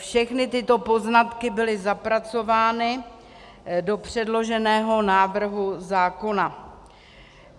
Všechny tyto poznatky byly zapracovány do předloženého návrhu zákona.